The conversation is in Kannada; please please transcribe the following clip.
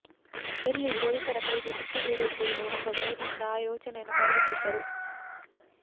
ಎಲ್ಲಿ ಪೊಲೀಸರ ಕೈಗೆ ಸಿಕ್ಕಿ ಬೀಳುತ್ತೇವೆಯೋ ಎಂಬ ಭಯದಿಂದ ಆ ಯೋಚನೆಯನ್ನು ಕೈಬಿಟ್ಟಿದ್ದರು